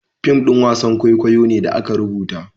fim ɗin wasan kwaikwayo ne da aka rubuta